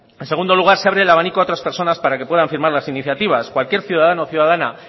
en segundo lugar se abre el abanico a otras personas para que puedan firmar las iniciativas cualquier ciudadano o ciudadana